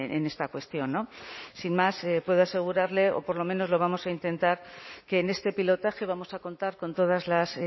en esta cuestión sin más puedo asegurarle o por lo menos lo vamos a intentar que en este pilotaje vamos a contar con todas las